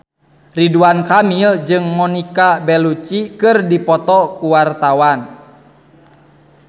Ridwan Kamil jeung Monica Belluci keur dipoto ku wartawan